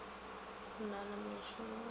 o na le mošomo wa